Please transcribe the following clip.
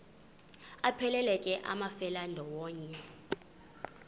aphelela ke amafelandawonye